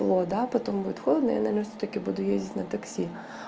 тепло да потом будет холодно я всё-таки наверное буду ездить на такси